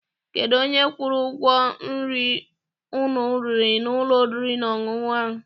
Kedụ onye kwụrụ ụgwọ nri unu riri n'ụlọ oriri na ọṅụṅụ ahụ?